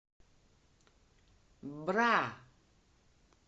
бра